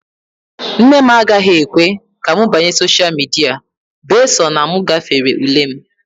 nne m agaghị ekwe ka m banye sosha midia bee sọ na m gafere ule m